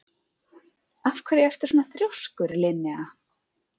Af hverju ertu svona þrjóskur, Linnea?